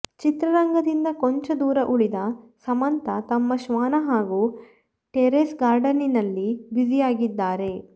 ಚಿತ್ರರಂಗದಿಂದ ಕೊಂಚ ದೂರ ಉಳಿದ ಸಮಂತಾ ತಮ್ಮ ಶ್ವಾನ ಹಾಗೂ ಟೆರೆಸ್ ಗಾರ್ಡನಿಂಗ್ನಲ್ಲಿ ಬ್ಯುಸಿಯಾಗಿದ್ದಾರೆ